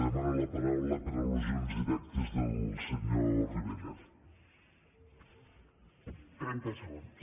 demano la paraula per allusions directes del senyor rivera